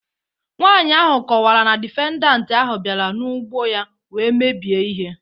Nwaanyị ahụ kọwara na difendant ahụ bịara n'ụgbọ ya wee mebie ihe